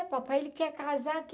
É, papai, ele quer casar.